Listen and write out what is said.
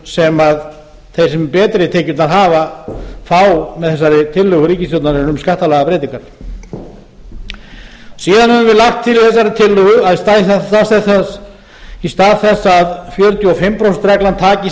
sem þeir sem betri tekjurnar hafa fá með þessari tillögu ríkisstjórnarinnar um skattalagabreytingar síðan höfum við lagt til í þessari tillögu að í stað þess að fjörutíu og fimm prósent reglan taki